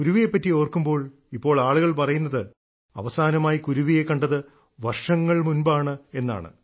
കുരുവിയെപ്പറ്റി ഓർക്കുമ്പോൾ ഇപ്പോൾ ആളുകൾ പറയുന്നത് അവസാനമായി കുരുവിയെ കണ്ടത് വർഷങ്ങൾ മുൻപാണ് എന്നാണ്